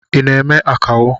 I na eme akawo?